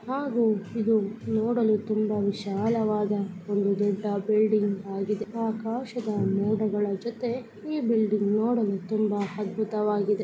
ಹಾಗು ಇದು ನೋಡಲು ತುಂಬಾ ವಿಶಾಲವಾದ ಒಂದು ದೊಡ್ಡ ಬಿಲ್ಡಿಂಗ್ ಆಗಿದೆ. ಆಕಾಶದ ಮೋಡಗಳ ಜೊತೆ ಈ ಬಿಲ್ಡಿಂಗ್ ನೋಡಲು ತುಂಬಾ ಅದ್ಬುತ ವಾಗಿದೆ .